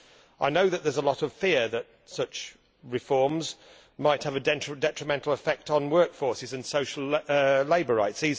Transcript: I know that there is a lot of fear that such reforms might have a detrimental effect on workforces and social labour rights.